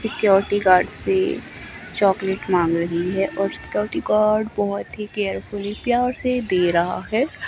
Security guard से chocolate मांग रही है और सिक्योरिटी गार्ड बोहोत ही केयरफुली प्यार से दे रहा है।